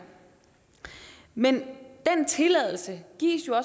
men den tilladelse gives